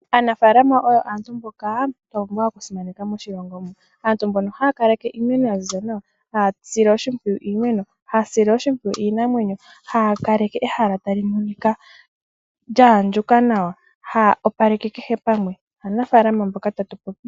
Aanafaalama oyo antu mnboka twa pumbwa okusimaneka moshilongo muka. Aantu mboka haya kaleke iimeno ya ziza nawa, haya sile iimeno oshimpwiyu, haya sile iinamwenyo oshimpwiyu, ha ya kaleke ehala lya andjuka nawa, haya opaleke kehe pamwe. Aanafaalama mboka tatu popi.